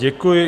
Děkuji.